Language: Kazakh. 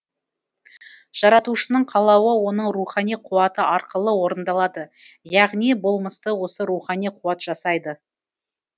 жаратушының қалауы оның рухани қуаты арқылы орындалады яғни болмысты осы рухани қуат жасайды